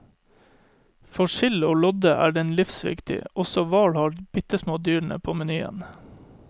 For sild og lodde er den livsviktig, også hval har de bittesmå dyrene på menyen.